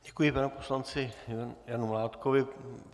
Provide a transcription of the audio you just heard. Děkuji panu poslanci Janu Mládkovi.